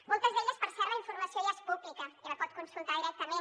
moltes d’elles per cert la informació ja és pública i la pot consultar directament